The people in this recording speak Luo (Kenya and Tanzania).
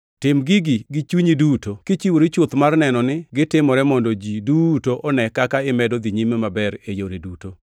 Tim gigi gi chunyi duto, kichiwori chuth mar neno ni gitimore mondo ji duto one kaka imedo dhi nyime maber e yore duto.